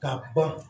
Ka ban